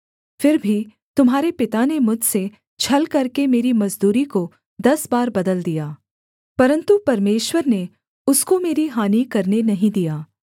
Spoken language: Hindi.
फिर भी तुम्हारे पिता ने मुझसे छल करके मेरी मजदूरी को दस बार बदल दिया परन्तु परमेश्वर ने उसको मेरी हानि करने नहीं दिया